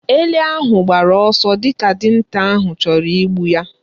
Ele ahụ gbara ọsọ dịka dinta ahụ chọrọ igbu ya.